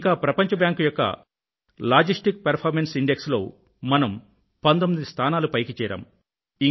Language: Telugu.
ఇంకా ప్రపంచ బ్యాంక్ యొక్క లాజిస్టిక్స్ పర్ఫార్మెన్స్ ఇండెక్స్ లో మనం 19 స్థానాలు పైకి చేరాము